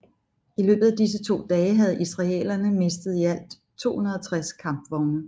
I løbet af disse to dage havde israelerne mistet i alt 260 kampvogne